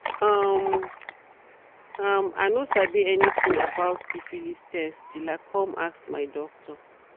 um um i no sabi anything about about syphilis test till i come ask my doctor